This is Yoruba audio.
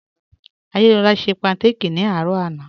Adésọla ṣẹ pankáki ni arọ̀ àná